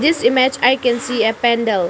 image i can see a pandal.